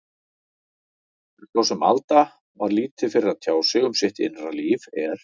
En svo sem Alda var lítið fyrir að tjá sig um sitt innra líf, er